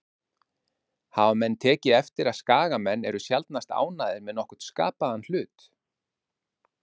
Hafa menn tekið eftir að Skagamenn eru sjaldnast ánægðir með nokkurn skapaðan hlut?